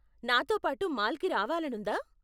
నాతో పాటు మాల్కి రావాలనుందా?